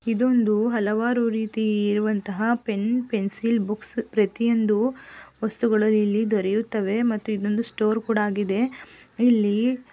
ಇದೊಂದು ಹಲವಾರು ರೀತಿ ಇರುವಂತಹ ಪೆನ್ ಪೆನ್ಸಿಲ್ ಬುಕ್ಸ್ ಪ್ರತಿಯೊಂದು ವಸ್ತುಗಳು ಇಲ್ಲಿ ದೊರೆಯುತ್ತವೆ ಮತ್ತು ಇದು ಸ್ಟೋರ್ ಕೂಡ ಆಗಿದೆ ಇಲ್ಲಿ--